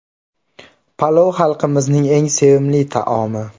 Palov xalqimizning eng sevimli taomi.